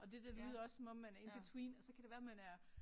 Og det der det lyder også som om man er in between og så kan det være man er